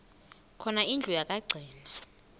khona indlu yokagcina